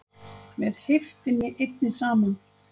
MEÐ HEIFTINNI EINNI SAMAN